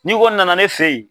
Ni kɔni nana ne fɛ yen.